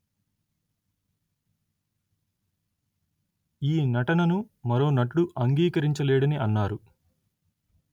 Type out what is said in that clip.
ఈ నటనను మరో నటుడు అంగీకరించలేడని అన్నారు